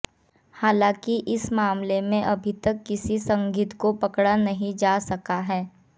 हालांकि इस मामले में अभी तक किसी संदिग्ध को पकड़ा नहीं जा सका है